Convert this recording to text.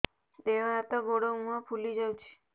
ଦେହ ହାତ ଗୋଡୋ ମୁହଁ ଫୁଲି ଯାଉଛି